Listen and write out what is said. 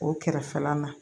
O kɛrɛfɛla la